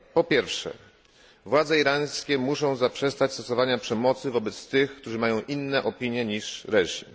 Po pierwsze, władze irańskie muszą zaprzestać stosowania przemocy wobec tych, którzy mają inne opinie niż reżim.